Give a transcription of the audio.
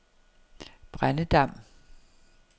Brændedam